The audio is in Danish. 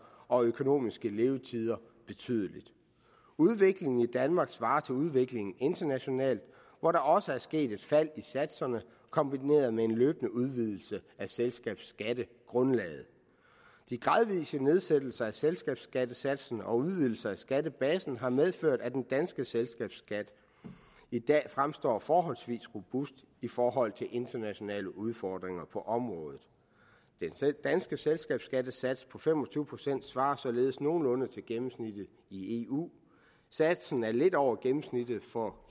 og økonomiske levetider betydeligt udviklingen i danmark svarer til udviklingen internationalt hvor der også er sket et fald i satserne kombineret med en løbende udvidelse af selskabsskattegrundlaget de gradvise nedsættelser af selskabsskattesatsen og udvidelse af skattebasen har medført at den danske selskabsskat i dag fremstår forholdsvis robust i forhold til internationale udfordringer på området den danske selskabsskattesats på fem og tyve procent svarer således nogenlunde til gennemsnittet i eu satsen er lidt over gennemsnittet for